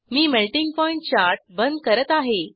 मी melting point chart बंद करत आहे